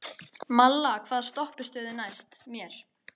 Malla, hvaða stoppistöð er næst mér?